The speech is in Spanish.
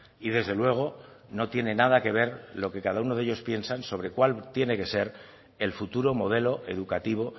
y desde luego no tiene nada que ver lo que cada uno de ellos piensa sobre cuál tiene que ser el futuro modelo educativo